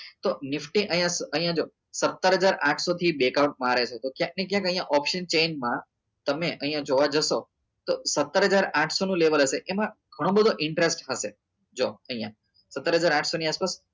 તો nifty અહિયાં સો અહિયાં જો સત્તર હજાર આન્થ્સો થી back out મારે છે તો ક્યાંક ને ક્યાંક અહિયાં option change માં તમે અહિયાં જોવા જશો તો સત્તર હજાર આન્થ્સો નું level હશે એમાં ગણો બધો interest હશે જો અહિયાં સત્તર હજાર ની આસપાસ